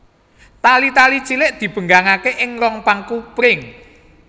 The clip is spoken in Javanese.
Tali tali cilik dibenggangaké ing rong paku pring